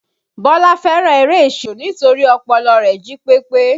Bọlá fẹ́ràn eré ìṣirò nítorí ọpọlọ rẹ̀ jí pépé